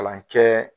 Kalan kɛ